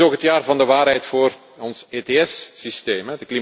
Het is ook het jaar van de waarheid voor ons ETS systeem.